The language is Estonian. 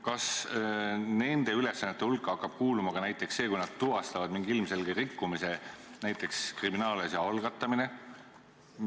Kas nende ülesannete hulka hakkab kuuluma ka näiteks see, kui nad tuvastavad mingi ilmselge rikkumise, ütleme, kriminaalasja algatamine?